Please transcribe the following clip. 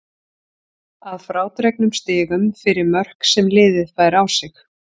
Að frádregnum stigum fyrir mörk sem liðið fær á sig.